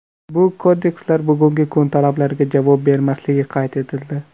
Bu kodekslar bugungi kun talablariga javob bermasligi qayd etildi.